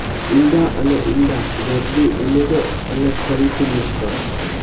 ઇંડા અને ઇંડા જરદી ઉમેરો અને ફરીથી મિશ્રણ